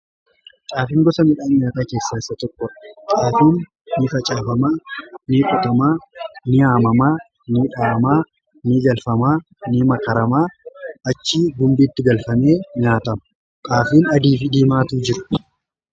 xaafiin gosa midhaan nyaataa keessaa isa tokkodha. xaafiin ni facaafamaa ni qotamaa ni haammamaa ni dhahamaa ni galfamaa ni makaramaa achi gumbiitti galfamee nyaatama xaafiin adii fi diimaatu jiru.